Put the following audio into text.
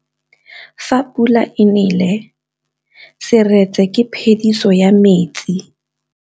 Fa pula e nelê serêtsê ke phêdisô ya metsi.